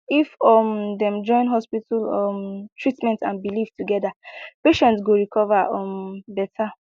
if um dem join hospital um treatment and belief together patients go recover um better